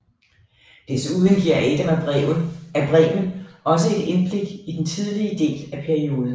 Desuden giver Adam af Bremen også et indblik i den tidlige del af perioden